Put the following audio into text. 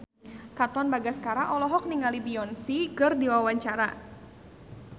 Katon Bagaskara olohok ningali Beyonce keur diwawancara